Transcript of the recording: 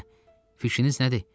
Hə, fikriniz nədir?